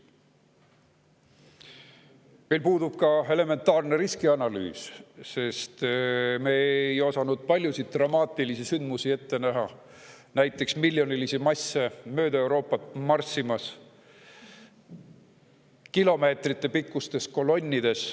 Meil puudub ka elementaarne riskianalüüs, sest me ei osanud ette näha paljusid dramaatilisi sündmusi, näiteks miljonilisi masse kilomeetritepikkustes kolonnides mööda Euroopat marssimas.